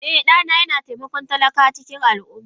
Eh, dana yana taimakon talakawa a cikin al’umma